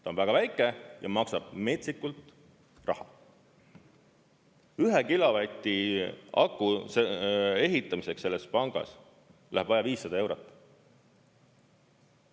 Ta on väga väike ja maksab metsikult raha: ühe kilovati aku ehitamiseks selles pangas läheb vaja 500 eurot.